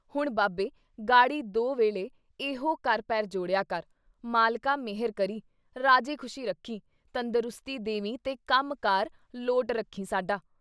ਹੁਣ ਬਾਬੇ 'ਗਾੜੀ ਦੋ ਵੇਲੇ ਐਹੋ ਕਰ-ਪੈਰ ਜੋੜਿਆ ਕਰ, ਮਾਲਕਾ ਮਿਹਰ ਕਰੀਂ, ਰਾਜੀ ਖੁਸ਼ੀ ਰੱਖੀਂ, ਤੰਦਰੁਸਤੀ ਦੇਵੀਂ ਤੇ ਕੰਮ ਕਾਰ ਲੋਟ ਰੱਖੀਂ ਸਾਡਾ।"